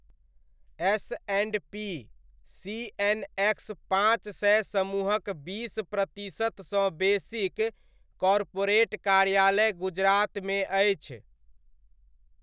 S and P CNX पाँच सय समूहक बीस प्रतिशतसँ बेसीक कॉर्पोरेट कार्यालय गुजरातमे अछि।